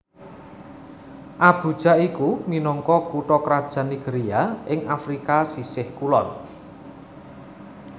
Abuja iku minangka kutha krajan Nigeria ing Afrika sisih kulon